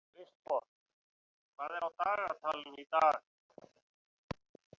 Kristborg, hvað er á dagatalinu í dag?